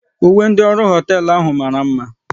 Uwe ndị ọrụ hoteelu ahụ mara mma